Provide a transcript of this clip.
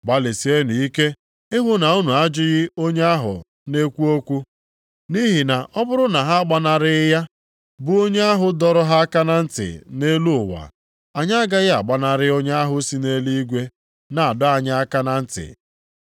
Gbalịsienụ ike ihu na unu ajụghị onye ahụ na-ekwu okwu. Nʼihi na ọ bụrụ na ha agbanarịghị ya, bụ onye ahụ dọrọ ha aka na ntị nʼelu ụwa, anyị agaghị agbanarị onye ahụ si nʼeluigwe na-adọ anyị aka na ntị.